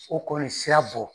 U kɔni sira bɔ.